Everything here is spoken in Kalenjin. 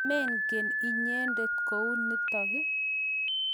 Mengen inyendet kou notok ii?